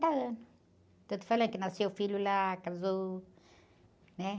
anos. Então eu te falei que nasceu o filho lá, casou, né?